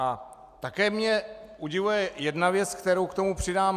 A také mě udivuje jedna věc, kterou k tomu přidám.